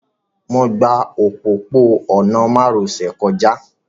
Mo gba òpópó-ọ̀nà márosẹ̀ kọjá